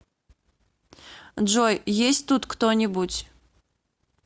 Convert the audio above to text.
джой есть тут кто нибудь